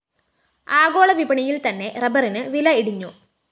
ആഗോളവിപണിയില്‍ത്തന്നെ റബ്ബറിന് വില ഇടിഞ്ഞു